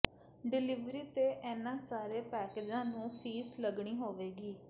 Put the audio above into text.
delivery ਤੇ ਇਹਨਾਂ ਸਾਰੇ ਪੈਕੇਜਾਂ ਨੂੰ ਫ਼ੀਸ ਲੱਗਣੀ ਹੋਵੇਗੀ